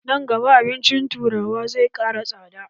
Nan gaba, abincin turawa zai ƙara tsada.